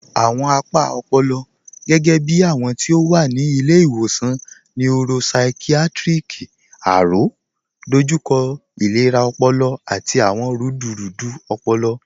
Awọn apa ọ̀pọ̀lọ̀, gẹgẹ̀bí awọn ti o wa ni Ilẹ̀-iwọsan Neuropsychiatric, Aro, dọjúkọ ilẹ̀rà ọ̀pọ̀lọ̀ àti awọn rúdúrúdú ọ̀pọ̀lọ̀